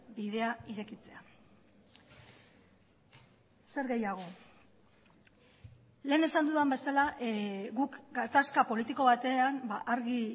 bidea irekitzea zer gehiago lehen esan dudan bezala guk gatazka politiko batean argi